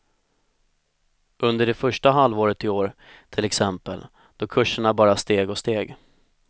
Under det första halvåret i år till exempel, då kurserna bara steg och steg.